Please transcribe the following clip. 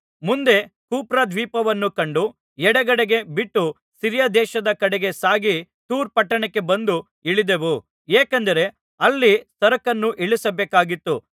ಮುಂದೆ ಕುಪ್ರದ್ವೀಪವನ್ನು ಕಂಡು ಎಡಗಡೆಗೆ ಬಿಟ್ಟು ಸಿರಿಯದೇಶದ ಕಡೆಗೆ ಸಾಗಿ ತೂರ್ ಪಟ್ಟಣಕ್ಕೆ ಬಂದು ಇಳಿದೆವು ಏಕೆಂದರೆ ಅಲ್ಲಿ ಸರಕನ್ನು ಇಳಿಸಬೇಕಾಗಿತ್ತು